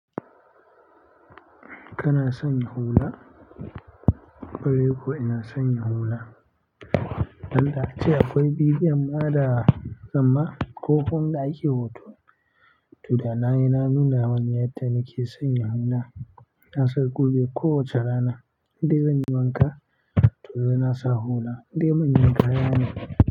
Kana sanya hula? Ƙwarai kuwa, ina sanya hula. Don da ace akwai videon ma da zamma ko kuma inda ake hoto. To da nayi na nuna maku yadda nake sanya hula. Ina sanya kube ko wace rana, indai zanyi wanka. To sai na sa hula, in dai manyan kaya ne.